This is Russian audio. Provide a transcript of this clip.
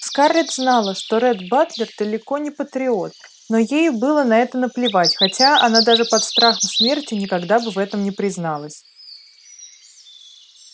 скарлетт знала что ретт батлер далеко не патриот но ей было на это наплевать хотя она даже под страхом смерти никогда бы в этом не призналась